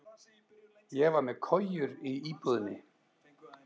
Ég var með kojur í íbúðinni.